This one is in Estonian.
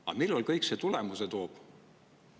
Aga millal see kõik tulemusi toob?